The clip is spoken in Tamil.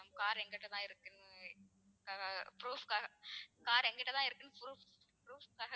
car எங்ககிட்ட இருக்கு proof க்காக ஆஹ் car எங்க கிட்ட இருக்கு proof proofs க்காக